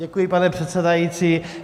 Děkuji, pane předsedající.